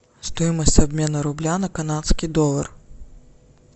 стоимость обмена рубля на канадский доллар